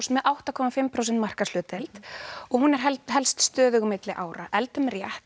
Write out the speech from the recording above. með átta komma fimm prósent markaðshlutdeild og hún helst stöðug á milli ára eldum rétt